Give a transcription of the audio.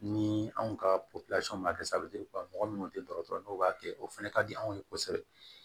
Ni anw ka ma kɛ mɔgɔ minnu tɛ dɔgɔtɔrɔ n'u b'a kɛ o fana ka di anw ye kosɛbɛ